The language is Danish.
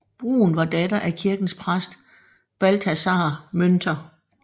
Brun var datter af kirkens præst Balthasar Münter